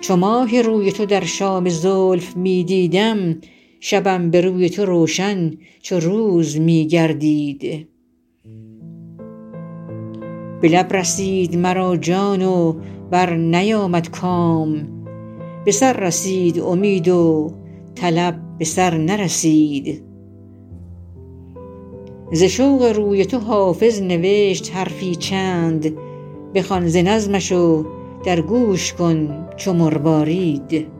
چو ماه روی تو در شام زلف می دیدم شبم به روی تو روشن چو روز می گردید به لب رسید مرا جان و برنیامد کام به سر رسید امید و طلب به سر نرسید ز شوق روی تو حافظ نوشت حرفی چند بخوان ز نظمش و در گوش کن چو مروارید